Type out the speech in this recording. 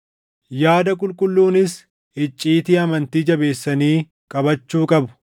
Yaada qulqulluunis icciitii amantii jabeessanii qabachuu qabu.